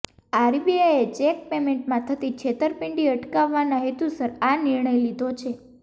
આરબીઆઈએ cheque પેમેન્ટમાં થતી છેતરપિંડી અટકાવવાનાં હેતુસર આ નિર્ણય લીધો છે